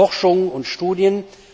Forschung und Studien.